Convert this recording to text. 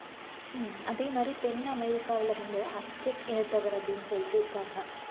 ஹம் அதே மாதிரி தென் அமெரிக்காவுல வந்து அட்ரிக் இனத்தவர் அப்படீன்னு சொல்லிட்டு இருக்காங்க